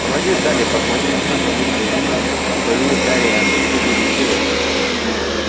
молодец дадлик похвалил сына мистер дурсль и повернулся к гарри а ты что будешь делать